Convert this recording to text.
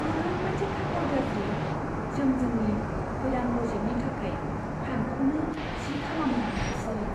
ओरैबायदि खाफाल गाज्रि, जों जोंनि गोदान प्रजेक्टनि थाखाय फान्डखौनो थि खालामनो हायासै।